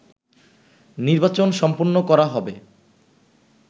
নির্বাচন সম্পন্ন করা হবে